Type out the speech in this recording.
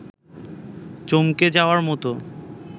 চমকে যাওয়ার মতো